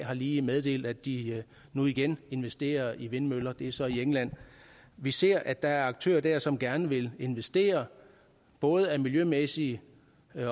har lige meddelt at de nu igen investerer i vindmøller det er så i england vi ser at der er aktører der som gerne vil investere både af miljømæssige